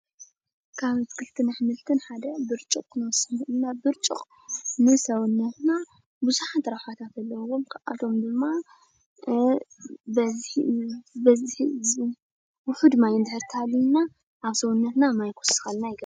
ካብ ኣትክልትን ኣሕምልትን ሓደ ብርጭቕ ክንወስድ ንክእል ኢና። ብርጭቕ ንሰውነትና ብዙሓት ረብሓታት ኣለውዎም፡፡ ካብኣቶም ድማ ውሑድ ማይ እንድሕር እንተሃልዩና ኣብ ሰውነትና ማይ ክውስኸልና ይገብር፡፡